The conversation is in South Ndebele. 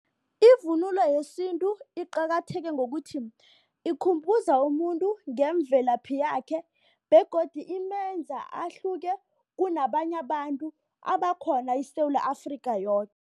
Ivunulo yesintu iqakatheke ngokuthi ikhumbuza umuntu ngemvelaphi yakhe begodu imenza ahluke kunabanye abantu abakhona eSewula Afrika yoke.